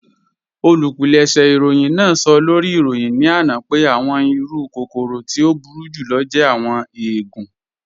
Olúpìlẹ̀ṣẹ̀ ìròyìn náà sọ̀ lórí ìròyìn ní ana pẹ̀ àwọn ìrù kòkòrò tí o búru jùlọ̀ jẹ̀ àwọn èègùn.